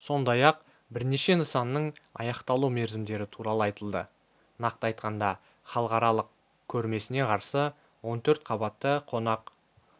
сондай-ақ бірнеше нысанның аяқталу мерзімдері туралы айтылды нақты айтқанда халықаралық көрмесіне қарсы он төрт қабатты қонақ